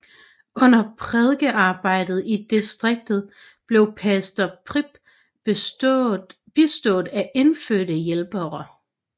Under prædikearbejdet i distriktet blev pastor Prip bistået af indfødte hjælpere